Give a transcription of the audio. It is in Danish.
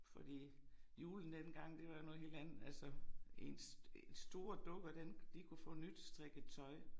Fordi julen dengang det var jo noget helt andet altså ens store dukker den de kunne få nystrikket tøj